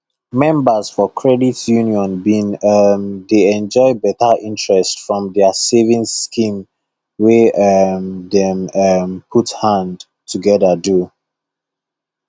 members for credit union been um dey enjoy better interest from their savings scheme wey um dem um put hand together do